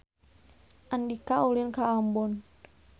Andika ulin ka Ambon